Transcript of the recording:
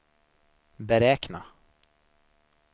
beräkna